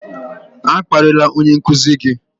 A kparịla onye nkuzi gị!